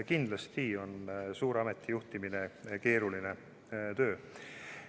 Kindlasti on suure ameti juhtimine keeruline töö.